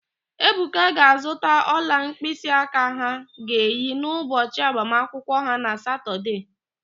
Ebuka ga-azụta ọla mkpịsịaka ha ga-eyi n'ụbọchị agbamakwụkwọ ha na Satọdee.